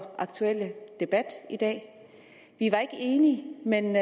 aktuelle emne til debat i dag vi var ikke enige men